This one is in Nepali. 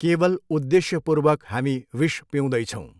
केवल उद्देश्यपूर्वक हामी विष पिउँदै छौँ।